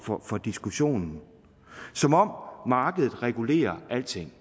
for for diskussionen som om markedet regulerer alting